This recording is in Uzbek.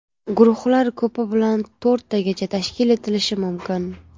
Guruhlar ko‘pi bilan to‘rttagacha tashkil etilishi mumkin.